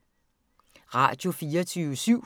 Radio24syv